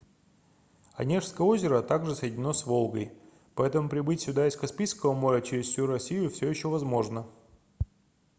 онежское озеро также соединено с волгой поэтому прибыть сюда из каспийского моря через всю россию всё ещё возможно